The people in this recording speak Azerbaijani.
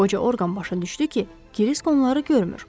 Qoca Orqan başa düşdü ki, Krisk onları görmür.